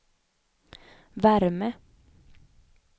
värme